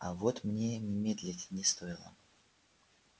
а вот мне медлить не стоило